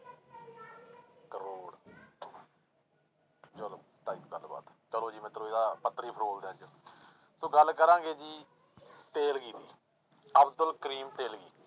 ਕਰੌੜ ਚਲੋ ਗੱਲਬਾਤ ਚਲੋ ਜੀ ਮਿਤਰੋ ਇਹਦਾ ਪੱਤਰੀ ਫਰੋਲਦੇ ਆਂ ਅੱਜ ਸੋ ਗੱਲ ਕਰਾਂਗੇ ਜੀ ਤੇਲਗੀ ਦੀ, ਅਬਦੁਲ ਕਰੀਮ ਤੇਲਗੀ।